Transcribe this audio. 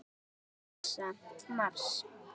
NASA- Mars.